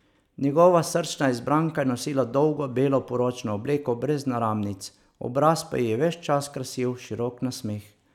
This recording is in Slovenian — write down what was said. Njegova srčna izbranka je nosila dolgo belo poročno obleko brez naramnic, obraz pa ji je ves čas krasil širok nasmeh.